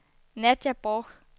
Nadia Borch